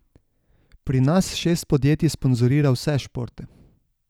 Pri nas šest podjetij sponzorira vse športe.